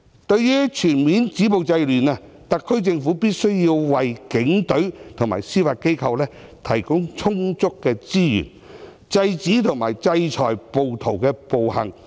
對於全面止暴制亂，特區政府必須為警隊和司法機構提供充足的資源，制止和制裁暴徒的暴行。